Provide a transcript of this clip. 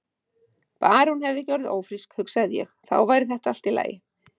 Bara að hún hefði ekki orðið ófrísk, hugsaði ég, þá væri þetta allt í lagi.